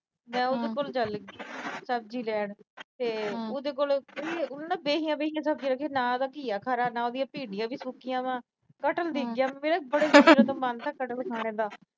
ਮੈਂ ਉਹਦੇ ਕੋਲ ਚੱਲ ਗਈ ਸਬਜੀ ਲੈਣ ਤੇ ਉਹਦੇ ਕੋਲ ਬਹੀਆ-ਬਹੀਆ ਸਬਜੀਆਂ ਸੀ। ਨਾ ਉਹਦੇ ਕੋਲ ਘਿਆ ਖਰਾ, ਉਹਦੀਆਂ ਭਿੰਡੀਆਂ ਵੀ ਸੁੱਕੀਆਂ ਵਾ। ਕਟਹਲ ਦਿਖ ਗਿਆ। ਮੇਰਾ ਬੜੇ ਦਿਨ ਤੋਂ ਮਨ ਥਾ, ਕਟਹਲ ਖਾਣੇ ਦਾ।